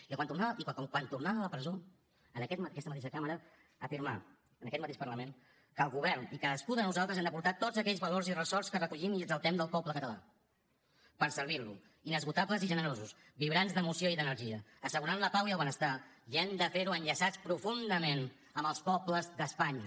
i que quan tornava de la presó en aquesta mateixa cambra afirmà en aquest mateix parlament que el govern i cadascú de nosaltres hem de portar tots aquells valors i ressorts que recollim i exaltem del poble català per servir lo inesgotables i generosos vibrants d’emoció i d’energia assegurant la pau i el benestar i hem de ferho enllaçats profundament amb els pobles d’espanya